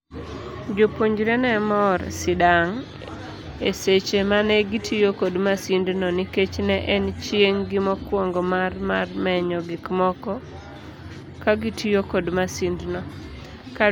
Jopuonjre ne mor sidang'eseche mane gitiyo kod masind no, nikech ne en chieng' gi mokuongo mar mar menyo gik moko kagitiyo kod masindno.